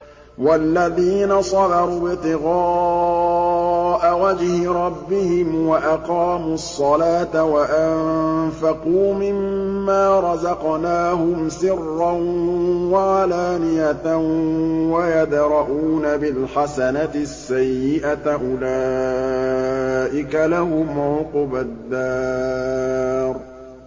وَالَّذِينَ صَبَرُوا ابْتِغَاءَ وَجْهِ رَبِّهِمْ وَأَقَامُوا الصَّلَاةَ وَأَنفَقُوا مِمَّا رَزَقْنَاهُمْ سِرًّا وَعَلَانِيَةً وَيَدْرَءُونَ بِالْحَسَنَةِ السَّيِّئَةَ أُولَٰئِكَ لَهُمْ عُقْبَى الدَّارِ